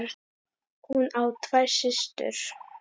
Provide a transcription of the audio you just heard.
Hún á tvær systur.